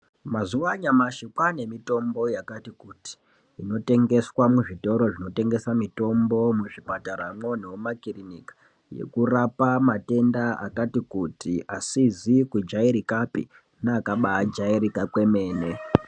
Mazuwa anyamashi kwaanemitombo yakati kuti inotengeswa muzvitoro zvinotengesa mitombo muzvipataramwo nemumakiriniki, yekurapa matenda akati kuti, asizi kujairikapi neakabaajairika kwemene.